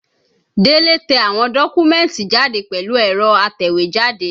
Délé tẹ àwọn dọ́kúmẹ̀tì jáde pẹ̀lú ẹ̀rọ atẹ̀wẹ́jáde